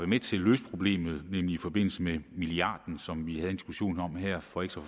med til at løse problemet nemlig i forbindelse med milliarden som vi havde en diskussion om her for ikke så